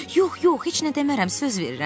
Yox, yox, heç nə demərəm, söz verirəm.